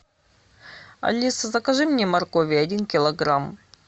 алиса закажи мне моркови один килограмм